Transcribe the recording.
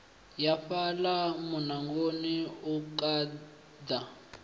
ya fhaḽa muṋangoni u khaḓa